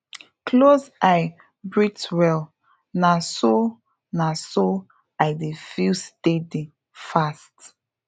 close eye breathe well na so na so i dey feel steady fast